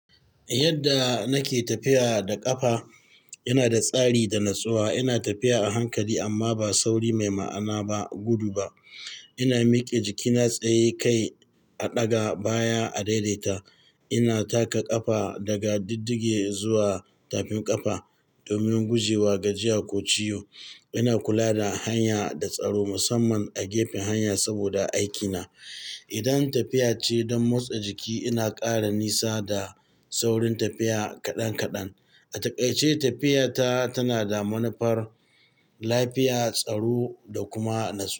Yadda nake tafiya da ƙafa, ina da tsari da natsuwa. Ina tafiya a hankali amma ba sauri mai ma'ana ba, gudu ba. Ina miƙe jikina tsaye kai a ɗaga baya a daidaita. Ina taka ƙafa daga diddige zuwa tafin ƙafa domin gujewa gajiya ko ciwo. Ina kula da hanya da tsaro musamman a gefen hanya saboda aikina. Idan tafiya ce don motsa jiki, ina ƙara nisa da saurin tafiya kaɗan kaɗan. A takaice tafiyata tana da manufar lafiya, tsaro da kuma natsu.